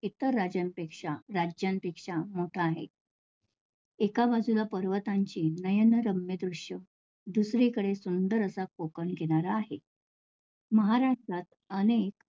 राज्य इतर राज्यापेक्षा~ राज्यांपेक्षा मोठा आहे. एका बाजूला पर्वतांची नयनरम्य दृश्य दुसरीकडे सुंदर असा कोकण किनारा आहे. महाराष्ट्रात अनेक